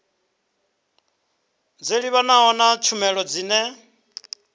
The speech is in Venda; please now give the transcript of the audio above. dzo livhanaho na tshumelo dzine